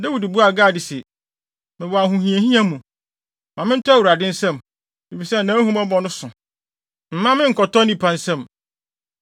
Dawid buaa Gad se, “Mewɔ ahohiahia mu. Ma mentɔ Awurade nsam, efisɛ nʼahummɔbɔ no so. Mma me nkɔtɔ nnipa nsam.”